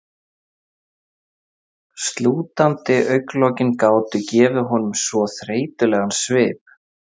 Slútandi augnalokin gátu gefið honum svo þreytulegan svip.